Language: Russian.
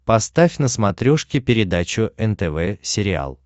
поставь на смотрешке передачу нтв сериал